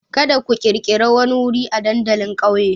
Kada ku ƙirƙiri wani wuri a dandalin ƙauyen!